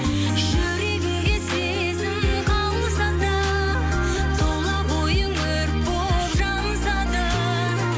жүрегіңде сезім қалса да тұла бойың өрт болып жанса да